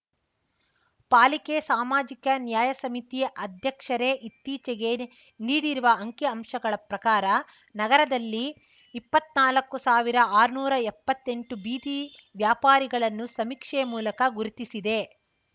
ಪಾಲಿಕೆ ಸಾಮಾಜಿಕ ನ್ಯಾಯ ಸಮಿತಿ ಅಧ್ಯಕ್ಷರೇ ಇತ್ತೀಚೆಗೆ ನೀಡಿರುವ ಅಂಕಿ ಅಂಶಗಳ ಪ್ರಕಾರ ನಗರದಲ್ಲಿ ಇಪ್ಪತ್ತ್ನಾಲ್ಕು ಸಾವಿರಆರ್ನೂರಾ ಎಪ್ಪತ್ತೆಂಟು ಬೀದಿ ವ್ಯಾಪಾರಿಗಳನ್ನು ಸಮೀಕ್ಷೆ ಮೂಲಕ ಗುರುತಿಸಿದೆ